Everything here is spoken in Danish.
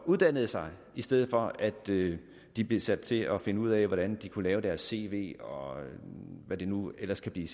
uddanne sig i stedet for at de de bliver sat til at finde ud af hvordan de kan lave deres cv og hvad de nu ellers kan blive